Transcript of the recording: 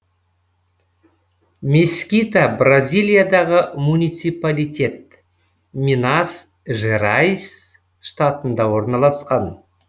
мескита бразилиядағы муниципалитет минас жерайс штатында орналасқан